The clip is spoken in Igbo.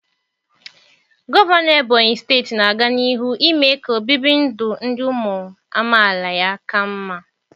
Gọvanọ ebonyị steeti na-aga n'ihu ime ka obibi ndụ ndụ ụmụ amaala ya ka mma.